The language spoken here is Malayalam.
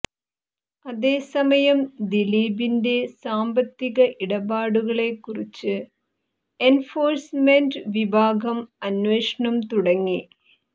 അതേസമയം ദിലീപിന്റെ സാമ്പത്തിക ഇടപാടുകളെക്കുറിച്ച് എന്ഫോഴ്സ്മെന്റ് വിഭാഗം അന്വേഷണം തുടങ്ങി